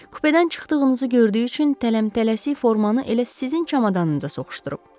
Kupedən çıxdığınızı gördüyü üçün tələm-tələsik formanı elə sizin çamadanınıza soxuşdurub.